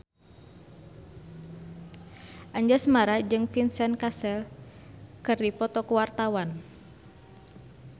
Anjasmara jeung Vincent Cassel keur dipoto ku wartawan